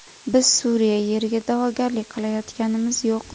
Biz Suriya yeriga da’vogarlik qilayotganimiz yo‘q.